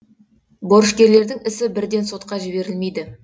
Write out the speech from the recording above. борышкерлердің ісі бірден сотқа жіберілмейді